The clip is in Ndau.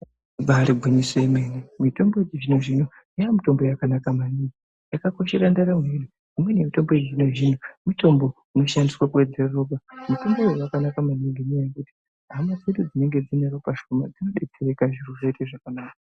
Ibari gwinyiso remene mitombo yechizvinozvino yava mitombo yakanaka maningi yakakoshera ndaramo yedu imweni mitombo yechizvinozvino inoshandiswa kuwedzera ropa mitombo iyoyo yakanaka maningi. Hama dzedu dzinenge dzineropa Shoma dzinoita zvakanaka .